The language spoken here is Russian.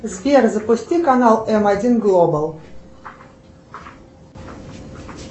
сбер запусти канал м один глобал